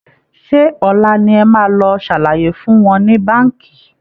Ṣé ọ̀la ni ẹ máa lọ ṣàlàyé fún wọn ní Báǹkì?